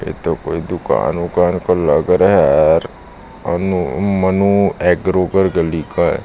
ए तो कोई दुकान उकान का लग रहा है यार अनु मनु एग्रो का लिखा है।